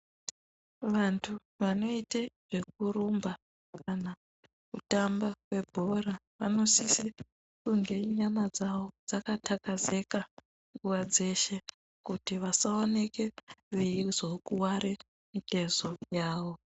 Vantu vanoite zvekurumba kana kutamba kwebhora vanosise kunge nyama dzawo dzakathakazeka nguwa dzeshe kuti vasaoneke veizokuware mitezo yawo.